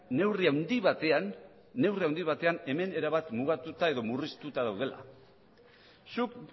neurri handi batean hemen erabat mugatuta edo murriztuta daudela zuk